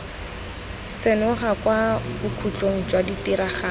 senoga kwa bokhutlong jwa ditiragalo